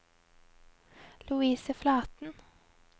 Louise Flaten